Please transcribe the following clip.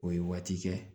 O ye waati kɛ